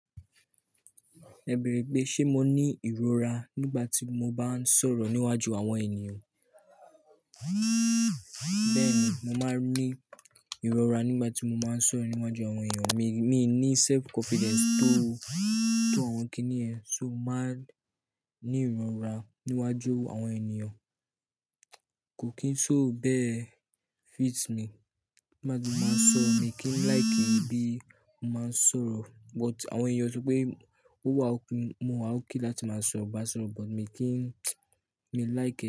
Ẹ bẹrẹ pé ṣe mo ní ìrora nígbà tí mo bá ń sọ̀rọ̀ níwájú àwọn ènìyàn? Bẹ́ẹ̀ni, mo máa ń ní ìrora nígbà tí mo máa ń sọ̀rọ̀ níwájú àwọn ènìyàn. Mi, mi ní self confidence tó, tó àwọn kíní ẹ̀, ṣo máa ń ní ìrora níwájú àwọn ènìyàn. Kò kín so bẹ́ẹ̀ fit mi. Máa di máa sọ mi kín like e bí mo máa ń sọ̀rọ̀ but àwọn ènìyàn ṣo pé ó wà ókun, mo wá okay láti máa bá sọro but mi kín, mi like it.